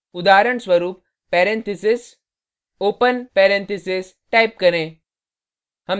उदाहरणस्वरुप parentheses open parentheses type करें